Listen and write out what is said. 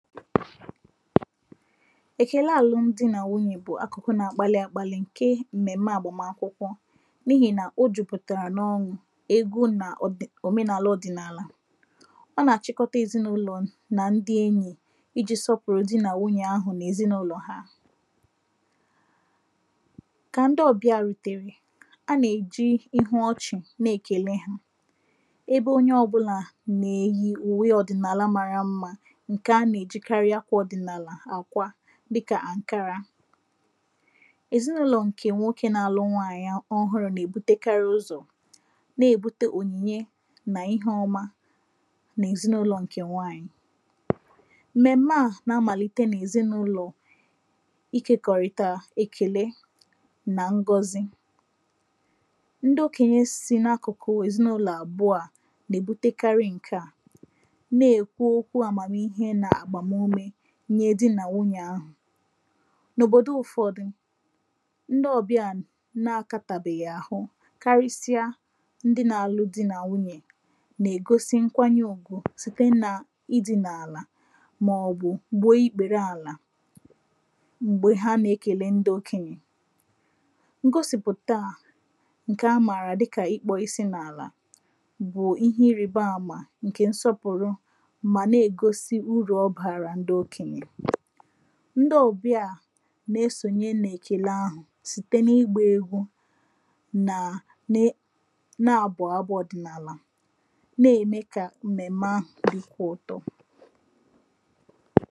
Èkèle àlụmdi nà nwunyè bụ̀ akụkọ na-agbalị̄ àgbalị̀ ǹke àgbàmakwụkwọ n’ihì nà o jupụ̀tàrà n’ọṅụ̀, ego nà ọ̀dị̀ òmenàla ọ̀dị̀nàlà ọ nà-àchịkọta èzinụlọ̀ nà ndị enyì ijī sọpụ̀rụ di nà nwunyè ahụ̀ nà èzinụlọ̀ ha kà ndị ọ̀bịà rùtèrè anà-èji ihu ọchị̀ na ekèle hā ebe onye ọbụ̄là nà-èyi ùwe ọ̀dị̀nàla mara mmā ǹkè anà-èjikarị akwā ọ̀dị̀nàlà àkwa dịkà ànkara èzinụlọ̀ ǹkè nwokē na-alụ nwaànyị a ọhụrụ̄ nà-èbutekarị ụzọ̀ na èbute ònyìnye nà ihe ọma n’èzinụlọ̄ ǹkè nwaànyị̀ m̀mèm̀me à nà-amàlite n’èzinụlọ̄ ikēkọ̀rìtà èkèle nà ngozi ndị okènye si n’akụ̀ku èzinụlọ̀ àbụ̀ọ à nà-èbutekarị ǹke à na-èkwu okwu àmàmihe nà àgbàmume nye di nà nwunyè ahụ̀ n’òbòdo ụ̀fọdụ ndị ọ̀bịà na akātàbèghị̀ àhụ karịsịa ndị na-alụ di nà nwunyè nà-ègosi nkwanye ùgwù site nà ịdị̄nà àlà màọ̀bụ̀ gbùo ikpère àlà m̀gbè ha nà-ekèle ndị okènyè ngosìpụ̀ta ǹkè amààrà dịkà ịkpọ̄ isi n’àlà bụ̀ ihe irìbaàmà ǹkè nsọpụ̀rụ mà na ègosi urù ọ barà ndị okènyè ndị ọ̀bịà nà esònye n’èkèle ahụ̀ site n’igbā egwu nà ne na-abụ̀ abụ̄ ọ̀dị̀nàlà na-ème kà m̀mèm̀me ahụ̀ dịkwa ụtọ